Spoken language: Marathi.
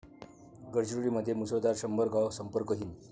गडचिरोलीमध्ये मुसळधार, शंभर गावं संपर्कहीन